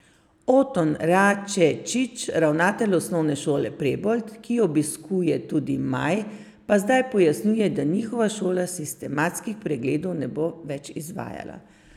Oton Račečič, ravnatelj Osnovne šole Prebold, ki jo obiskuje tudi Maj, pa zdaj pojasnjuje, da njihova šola sistematskih pregledov ne bo več izvajala.